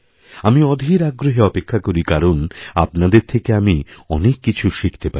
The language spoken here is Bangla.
আমি অধীরআগ্রহে অপেক্ষা করি কারণ আপনাদের থেকে আমি অনেক কিছু শিখতে পারি